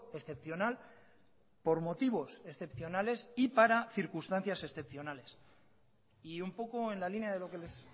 excepcional por motivos excepcionales y para circunstancias excepcionales y un poco en la línea de lo que les